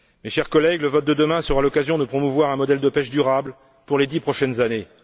Chers collègues, le vote de demain sera l'occasion de promouvoir un modèle de pêche durable pour les dix prochaines années.